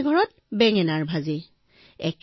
প্ৰতিখন ঘৰতে বেঙেনাৰ ব্যঞ্জন